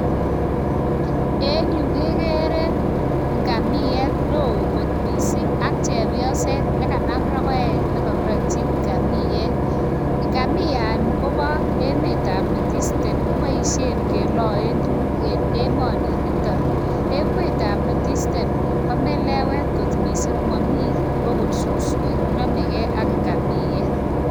En yu kegere ngamiet neo kot mising ak chepioset ne kanam rogoet ne kagirotyi ngamiet. Ngamiani kobo emetab north easten kiboisien keloen tuguk en emoninitok. Emetab north eastern ko melewet kot mising mami agot suswek. Namege ak ingamiet.